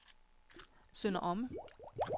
Sønder Omme